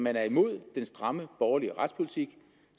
er imod den stramme borgerlige retspolitik